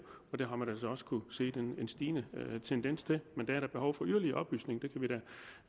og det har man altså også kunnet se en stigende tendens til men der er da behov for yderligere oplysning